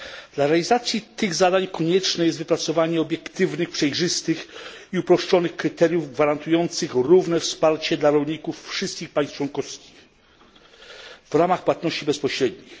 Dla realizacji tych zadań konieczne jest wypracowanie obiektywnych, przejrzystych i uproszczonych kryteriów, gwarantujących równe wsparcie dla rolników wszystkich państw członkowskich w ramach płatności bezpośrednich.